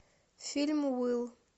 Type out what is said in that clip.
фильм уилл